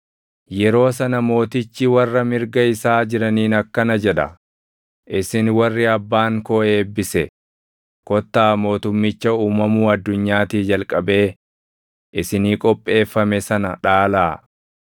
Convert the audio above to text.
“Yeroo sana Mootichi warra mirga isaa jiraniin akkana jedha; ‘Isin warri Abbaan koo eebbise kottaa mootumicha uumamuu addunyaatii jalqabee isinii qopheeffame sana dhaalaa.